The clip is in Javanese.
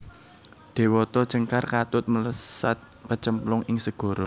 Déwata Cengkar katut mlesat kecemplung ing segara